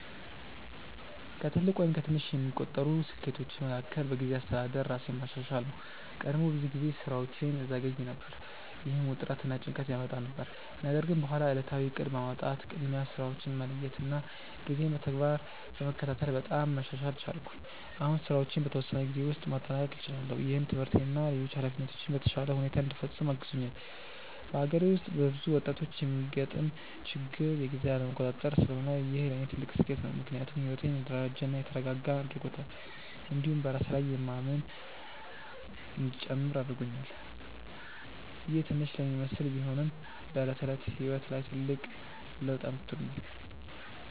ከትልቅ ወይም ከትንሽ የሚቆጠሩ ስኬቶቼ መካከል በጊዜ አስተዳደር ራሴን ማሻሻል ነው። ቀድሞ ብዙ ጊዜ ስራዎቼን እዘገይ ነበር፣ ይህም ውጥረት እና ጭንቀት ያመጣ ነበር። ነገር ግን በኋላ ዕለታዊ እቅድ በማውጣት፣ ቅድሚያ ስራዎችን በመለየት እና ጊዜን በተግባር በመከታተል በጣም መሻሻል ቻልኩ። አሁን ስራዎቼን በተወሰነ ጊዜ ውስጥ ማጠናቀቅ እችላለሁ፣ ይህም ትምህርቴን እና ሌሎች ኃላፊነቶቼን በተሻለ ሁኔታ እንዲፈጽም አግዞኛል። በአገሬ ውስጥ በብዙ ወጣቶች የሚገጥም ችግር የጊዜ አለመቆጣጠር ስለሆነ ይህ ለእኔ ትልቅ ስኬት ነው። ምክንያቱም ሕይወቴን የተደራጀ እና የተረጋጋ አድርጎታል፣ እንዲሁም በራሴ ላይ የማምን እንዲጨምር አድርጎኛል። ይህ ትንሽ ለሚመስል ቢሆንም በዕለት ተዕለት ሕይወት ላይ ትልቅ ለውጥ አምጥቶኛል።